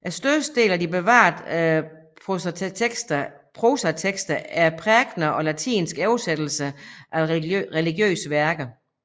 Størstedelen af de bevarede prosatekster er prækener og latinske oversættelser af religiøse værker